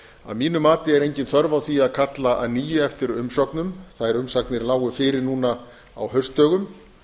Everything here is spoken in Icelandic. að mínu mati er engin þörf á því að kalla að nýju eftir umsögnum þær umsagnir lágu fyrir núna á haustdögum